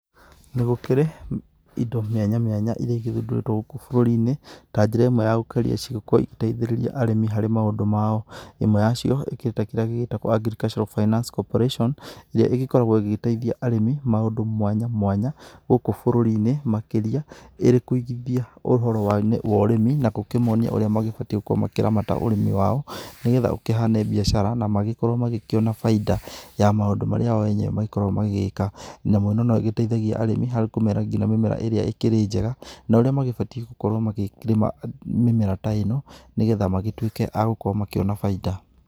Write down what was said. Nĩ gũkĩrĩ indo mĩanya mĩanya ĩria ĩgĩthundũrĩtwo gũkũ bũruri-inĩ ta njĩra ĩmwe ya gũkũrĩa ciĩko ingĩteithĩrĩrĩa arĩmi harĩ maũndũ mao. ĩmwe ya cio ĩkirĩ ta kĩria gĩtagwo AGRICULTURAL FINANCE CORPORATION, ĩrĩa igĩkoragwo ĩgĩteĩthĩa arĩmi maũndũ mwanya mwanya gũkũ bũrũri-inĩ makĩrĩa ĩrĩ kũigithĩa ũhoro wa ũrĩmi na gũkĩmonĩa ũrĩa magĩbatiĩ gũkorwo makĩramata ũrĩmi wao, nĩgetha ũkĩhane bĩacara na magĩkorwo magĩkĩona baida ya maũndũ marĩa oo enyewe magĩkorwo magĩĩka. Nyamũ ĩno no ĩgĩteĩthagĩa arĩmi harĩ kũmera ngĩnya mĩmera ĩrĩa ĩkirĩ njega no ũrĩa magĩbatiĩ gũkorwo magĩkĩrĩma mĩmera ta ĩno nĩ getha magĩtuĩke agũkorwo makĩona baida.